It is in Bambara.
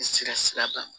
Sira sira kan